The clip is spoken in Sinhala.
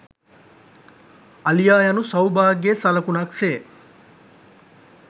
අලියා යනු සෞභාග්‍යයේ සලකුණක් සේ